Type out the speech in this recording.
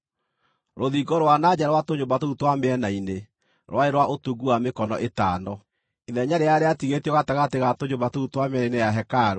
Rũthingo rwa na nja rwa tũnyũmba tũu twa mĩena-inĩ rwarĩ rwa ũtungu wa mĩkono ĩtano. Ithenya rĩrĩa rĩatigĩtio gatagatĩ ga tũnyũmba tũu twa mĩena-inĩ ya hekarũ